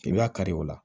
I b'a kari o la